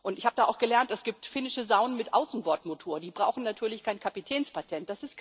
Ich habe da auch gelernt Es gibt finnische Saunen mit Außenbordmotor, die brauchen natürlich kein Kapitänspatent